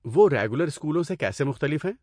وہ ریگولر اسکولوں سے کیسے مختلف ہیں؟